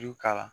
Ju k'a la